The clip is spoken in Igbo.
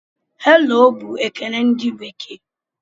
"Hello" bụ ekele ndị bekee.